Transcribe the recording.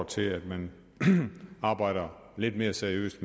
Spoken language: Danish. til at man arbejder lidt mere seriøst